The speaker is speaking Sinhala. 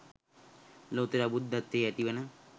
ලොවුතුරා බුද්ධත්වයෙහි ඇතිවන